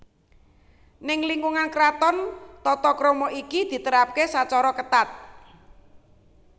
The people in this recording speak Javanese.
Neng lingkungan kraton tata krama iki diterapake sacara ketat